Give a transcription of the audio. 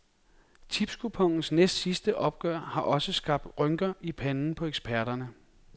Tipskuponens næstsidste opgør har også skabt rynker i panden på eksperterne.